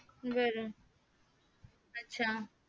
बर अच्चा